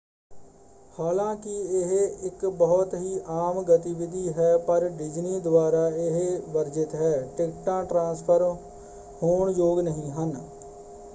ਹਾਲਾਂਕਿ ਇਹ ਇੱਕ ਬਹੁਤ ਹੀ ਆਮ ਗਤੀਵਿਧੀ ਹੈ ਪਰ ਡਿਜ਼ਨੀ ਦੁਆਰਾ ਇਹ ਵਰਜਿਤ ਹੈ: ਟਿਕਟਾਂ ਟ੍ਰਾਂਸਫ਼ਰ ਹੋਣ ਯੋਗ ਨਹੀਂ ਹਨ।